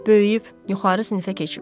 Böyüyüb yuxarı sinifə keçib.